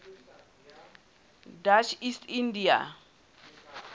dutch east india